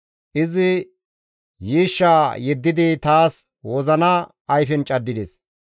Izi yiishshaa yeddidi taas wozina ayfen caddides.